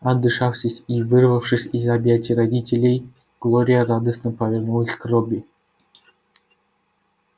отдышавшись и вырвавшись из объятий родителей глория радостно повернулась к робби